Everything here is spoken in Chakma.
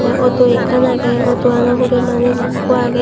tey auto ekkan agey auto ano hure manuj ikko agey.